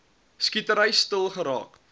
skietery stil geraak